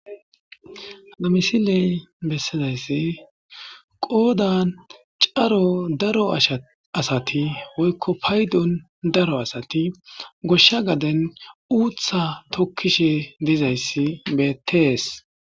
Ha misiley besizayssi qoddan cora daro asatta woyko payddon daro asatta goshsha gaden uutta tokishshe dizayssi bettes.